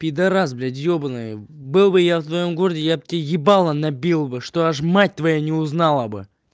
пидорас блядь ёбаный был бы я в твоём городе я бы тебе ебало набил бы чтобы аж мать твоя не узнала бы